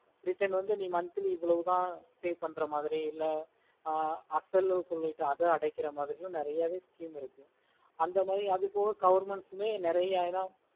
return வந்து monthly ஏவோலோத pay பண்ணுற மாரி ல அதுவும் அடைக்குற மாரி இருக்கும் நேரிய வே scheme இருக்கு அத மாரி அதுகுமே government உமை நேரிய இடம்